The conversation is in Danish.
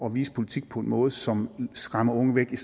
vise politik på en måde som skræmmer unge væk i